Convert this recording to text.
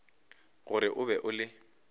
gore o be o le